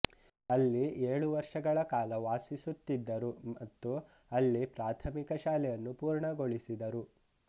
ಅಲ್ಲಿ ಏಳು ವರ್ಷಗಳ ಕಾಲ ವಾಸಿಸುತ್ತಿದ್ದರು ಮತ್ತು ಅಲ್ಲಿ ಪ್ರಾಥಮಿಕ ಶಾಲೆಯನ್ನು ಪೂರ್ಣಗೊಳಿಸಿದರು